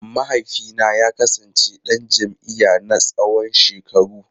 Mahaifina ya kasance dan jam’iyya na tsawon shekaru.